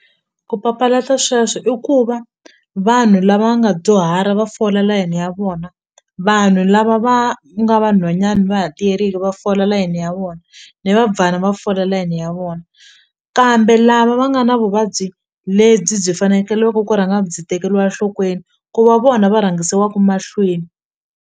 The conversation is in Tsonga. Ku papalata sweswo i ku va vanhu lava nga dyuhara va fola layini ya vona vanhu lava va nga va nhwanyana va ha tiyerile va fola layini ya vona ni va fola layini ya vona kambe lava va nga na vuvabyi lebyi byi fanekeleke ku rhanga byi tekeriwa enhlokweni ku va vona va rhangisiwaka mahlweni.